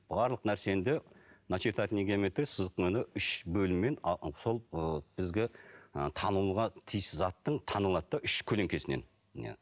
барлық нәрсені де начертательная геометрия үш бөліммен сол ы бізге ы танылуға тиіс заттың танылады да үш көлеңкесінен иә